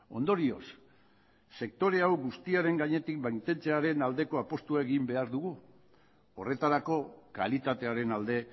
ondorioz sektore hau guztiaren gainetik mantentzearen aldeko apustua egin behar dugu horretarako kalitatearen alde